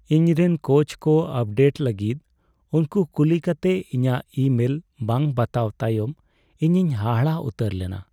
ᱤᱧ ᱨᱮᱱ ᱠᱳᱪᱠᱚ ᱟᱯᱰᱮᱴ ᱞᱟᱹᱜᱤᱫ ᱩᱱᱠᱩ ᱠᱩᱞᱤ ᱠᱟᱛᱮ ᱤᱧᱟᱹᱜ ᱤᱼᱢᱮᱞ ᱵᱟᱝ ᱵᱟᱛᱟᱣ ᱛᱟᱭᱚᱢ ᱤᱧᱤᱧ ᱦᱟᱦᱟᱲᱟᱜ ᱩᱛᱟᱹᱨ ᱞᱮᱱᱟ ᱾